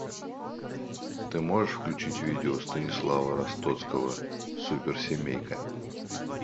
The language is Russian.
ты можешь включить видео станислава ростоцкого суперсемейка